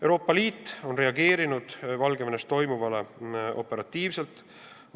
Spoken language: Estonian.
Euroopa Liit on reageerinud Valgevenes toimuvale operatiivselt.